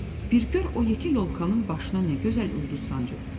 Bir gör o yekə yolkanın başına nə gözəl ulduz sancıb!"